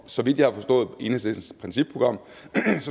så vidt jeg har forstået enhedslistens principprogram